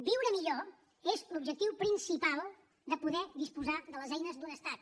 viure millor és l’objectiu principal de poder disposar de les eines d’un estat